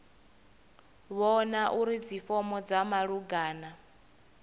vhona uri dzifomo dza malugana